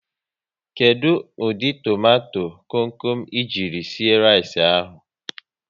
Kedụ ụdị tomato kom kom e ji sie rice ahụ?